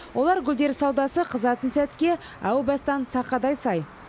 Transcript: олар гүлдер саудасы қызатын сәтке әу бастан сақадай сай